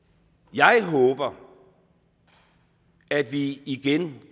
jeg håber at vi igen